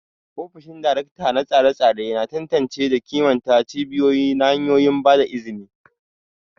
Ofishin Darakta na tsare-tsare yana tantance da kimanta cibiyoyi da hanyoyin ba da izini.